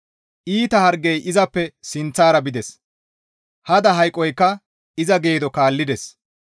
Iita hargey izappe sinththara bides; hada hayqoykka iza geedo kaallides.